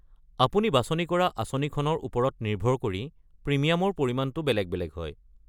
আপুনি বাচনি কৰা আঁচনিখনৰ ওপৰত নিৰ্ভৰ কৰি প্ৰিমিয়ামৰ পৰিমাণটো বেলেগ বেলেগ হয়।